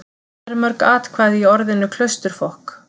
Hvað eru mörg atkvæði í orðinu Klausturfokk?